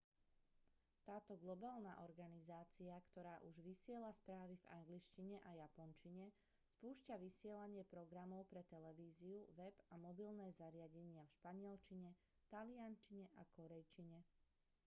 táto globálna organizácia ktorá už vysiela správy v angličtine a japončine spúšťa vysielanie programov pre televíziu web a mobilné zariadenia v španielčine taliančine a kórejčine